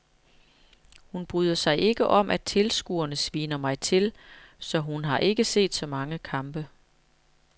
Hun bryder sig ikke om at tilskuerne sviner mig til, så hun har ikke set så mange kampe.